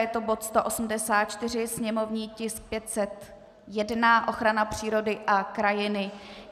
Je to bod 184, sněmovní tisk 501, ochrana přírody a krajiny.